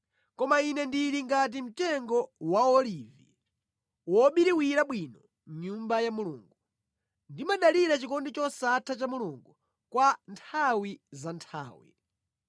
Koma ine ndili ngati mtengo wa olivi wobiriwira bwino mʼnyumba ya Mulungu; ndimadalira chikondi chosatha cha Mulungu kwa nthawi za nthawi.